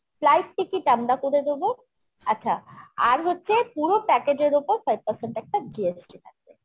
flight ticket আমরা করে দেবো আচ্ছা আর হচ্ছে পুরো package এর ওপর five percent একটা GST থাকবে